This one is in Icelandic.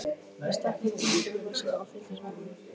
Ég stakk höndunum í úlpuvasana og fylgdist með honum.